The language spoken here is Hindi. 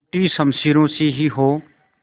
टूटी शमशीरों से ही हो